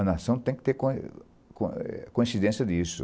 A nação tem que ter coin coin coincidência disso.